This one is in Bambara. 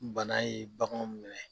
Bana ye baganw minɛ.